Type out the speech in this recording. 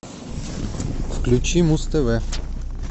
включи муз тв